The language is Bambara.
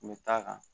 N bɛ taa kan